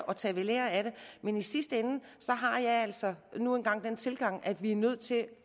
og tage ved lære af det men i sidste ende har jeg altså nu engang den tilgang at vi er nødt til